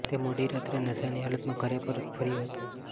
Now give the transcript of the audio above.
તે મોડી રાત્રે નશાની હાલતમાં ઘરે પરત ફર્યો હતો